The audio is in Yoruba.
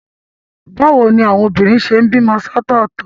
Bí àwọn obìnrin ṣe ń bímọ ṣọ̀tọ̀tọ̀.